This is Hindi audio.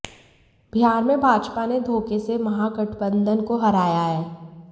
बिहार में भाजपा ने धोखे से महागठबंधन को हराया है